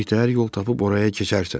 Bir təhər yol tapıb oraya keçərsən.